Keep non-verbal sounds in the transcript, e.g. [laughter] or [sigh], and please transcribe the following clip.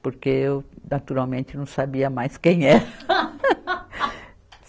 Porque eu, naturalmente, não sabia mais quem era. [laughs]